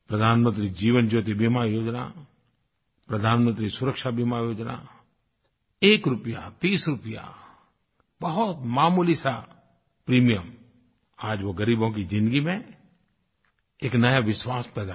प्रधानमंत्री जीवन ज्योति बीमा योजना प्रधानमंत्री सुरक्षा बीमा योजना एक रुपया तीस रूपया बहुत मामूली सा प्रीमियम आज वो ग़रीबों की ज़िन्दगी में एक नया विश्वास पैदा करता है